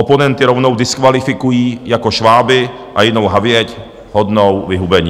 Oponenty rovnou diskvalifikují jako šváby a jinou havěť hodnou vyhubení.